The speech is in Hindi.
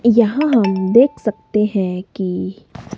यहां हम देख सकते है की--